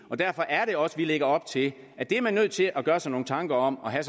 og derfor er det også vi lægger op til at det er man nødt til at gøre sig nogle tanker om og have